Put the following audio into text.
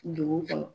Dugu kɔnɔ